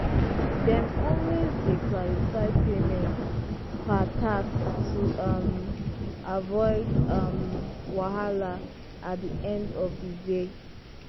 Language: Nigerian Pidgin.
dem always dey clarify payment per task to um avoid um wahala at di end of di day.